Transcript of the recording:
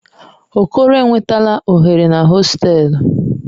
Okoro enwetala oghere na hostelu.